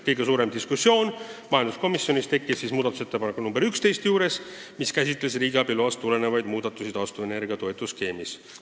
Kõige pikem diskussioon tekkis muudatusettepaneku nr 11 üle, mis käsitleb riigiabi loast tulenevaid muudatusi taastuvenergia toetusskeemis.